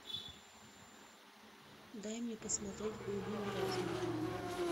дай мне посмотреть глубины разума